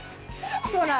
svona